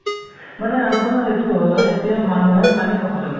মানে আপোনাৰ, এটো হয়, এতিয়া মানুহে পানী খাব লাগে